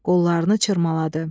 Qollarını çırmaladı.